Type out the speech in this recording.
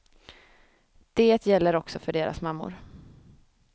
Det gäller också för deras mammor.